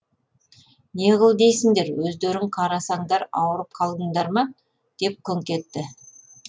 не қыл дейсіңдер өздерің қарасандар ауырып қалдыңдар ма деп күңк етті